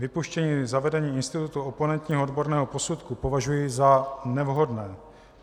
Vypuštění zavedení institutu oponentního odborného posudku považuji za nevhodné.